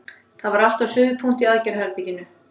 Það var allt á suðupunkti í aðgerðaherberginu.